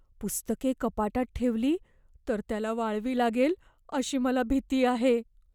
पुस्तके कपाटात ठेवली तर त्याला वाळवी लागेल अशी मला भीती आहे.